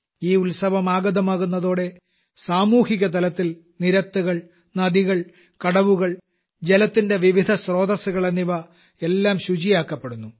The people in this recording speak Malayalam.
ഈത്സം ആഗതമാകുന്നതോടെ സാമൂഹികതലത്തിൽ നിരത്തുകൾ നദികൾ കടവുകൾ ജലത്തിന്റെ വിവിധ സ്രോതസ്സുകൾ എന്നിവയെല്ലാം ശുചിയാക്കപ്പെടുന്നു